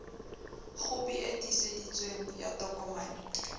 khopi e tiiseditsweng ya tokomane